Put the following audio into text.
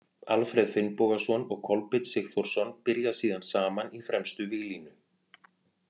Alfreð Finnbogason og Kolbeinn Sigþórsson byrja síðan saman í fremstu víglínu.